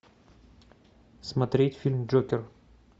смотреть фильм джокер